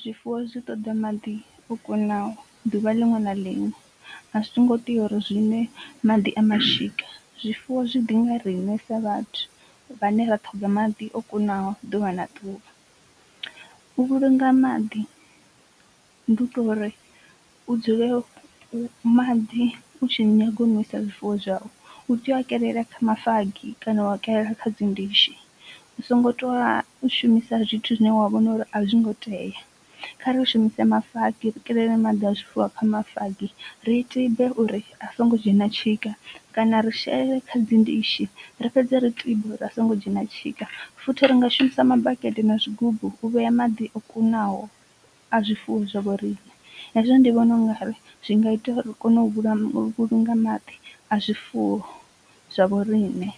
zwifuwo zwi ṱoḓa maḓi o kunaho duvha liṅwe na liṅwe a zwo ngo tea uri zwinwe maḓi a mashika, zwifuwo zwi ḓi nga riṋe sa vhathu vhane ra ṱhoga maḓi o kunaho ḓuvha na ḓuvha, u vhulunga maḓi ndi u to uri u dzule maḓi u tshi nyaga u nwisa zwifuwo zwau u tea u kelela kha mafagi kana wa kelela kha dzi ndishi. U songo tou shumisa zwithu zwine wa vhona uri a zwi ngo tea, khari shumise mafagi ri kelele maḓi a zwifuwo kha mafagi ri tibe uri a songo dzhena tshika kana ri shele kha dzi ndishi ri fhedze ri tibe uri a songo dzhena tshika, futhi ringa shumisa mabakete na zwigubu u vhea maḓi o kunaho a zwifuwo zwa vho riṋe, hezwo ndi vhona ungari zwi nga ita ri kone u vhulunga maḓi a zwifuwo zwa vho riṋe.